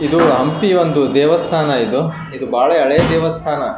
ಇದು ಹಂಪಿ ಒಂದು ದೇವಸ್ಥಾನ ಇದು ಇದು ಬಹಳ ಹಳೆ ದೇವಸ್ಥಾನ .